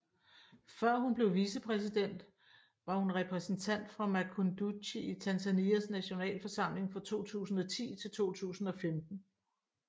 Før hun blev vicepræsident var hun repræsentant for Makunduchi i Tanzanias nationalforsamling fra 2010 til 2015